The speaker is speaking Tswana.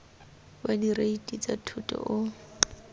wa direiti tsa thoto o